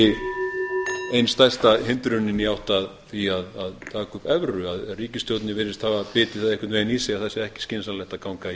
er kannski ein stærsta hindrunin í átt að því að taka upp evru að ríkisstjórnin virðist hafa bitið það einhvern veginn í